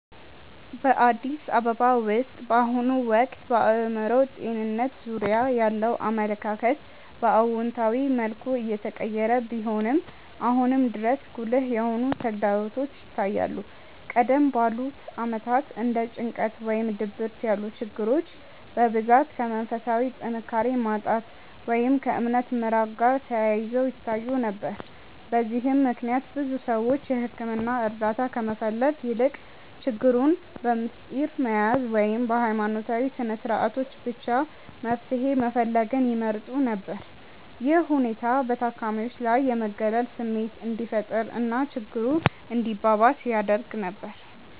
በአዲስ አበባ ውስጥ በአሁኑ ወቅት በአእምሮ ጤንነት ዙሪያ ያለው አመለካከት በአዎንታዊ መልኩ እየተቀየረ ቢሆንም፣ አሁንም ድረስ ጉልህ የሆኑ ተግዳሮቶች ይታያሉ። ቀደም ባሉት ዓመታት እንደ ጭንቀት ወይም ድብርት ያሉ ችግሮች በብዛት ከመንፈሳዊ ጥንካሬ ማጣት ወይም ከእምነት መራቅ ጋር ተያይዘው ይታዩ ነበር። በዚህም ምክንያት ብዙ ሰዎች የሕክምና እርዳታ ከመፈለግ ይልቅ ችግሩን በምስጢር መያዝን ወይም በሃይማኖታዊ ስነስርዓቶች ብቻ መፍትሄ መፈለግን ይመርጡ ነበር። ይህ ሁኔታ በታካሚዎች ላይ የመገለል ስሜት እንዲፈጠር እና ችግሩ እንዲባባስ ያደርግ ነበር።